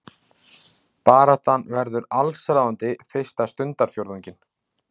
Baráttan hefur verið allsráðandi fyrsta stundarfjórðunginn